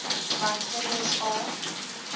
want kinders aap